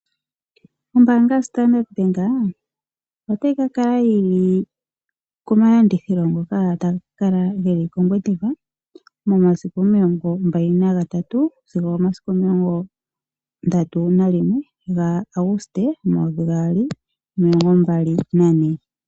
Ombaanga yo-Standard Bank, ota yi kakala komalandithilo ngoka taga kakala geli koNgwediva momasiku omilongo mbali nagatatu sigo omasiku omilongo ndatu nalinwe gaAguste omumvo omayovi gaali nomilongo mbali nane.